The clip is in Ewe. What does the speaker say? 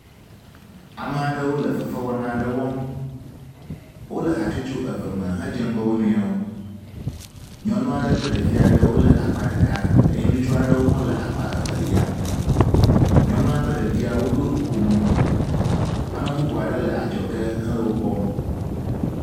Ame aɖewo le fefewɔna aɖe wɔm. Wole hatsotso eve me hedze ŋgɔ wonuiwo. Nyɔnu aɖe kple ɖevi aɖewo wole akpa ɖeka eye ŋutsu aɖewo hã wole akpa evelia. Nyɔnua kple ɖevia woɖo nukomo. Ame bubu aɖe le adzɔge hele wo kpɔm.